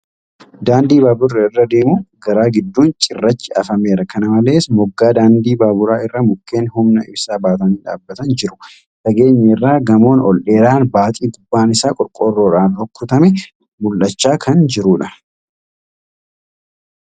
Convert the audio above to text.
Daandii baaburri irra deemu garaa gidduun cirrachi afameera. Kana malees, moggaa daandii baaburaa irra mukkeen humna ibsaa baatanii dhaabbatan jiru. Fageenya irraa gamoon ol dheeraan baaxii gubbaan isaa qorqorroodhaan rukutame mul'achaa jira.